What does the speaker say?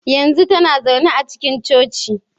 Yanzu tana zaune a cikin Coci.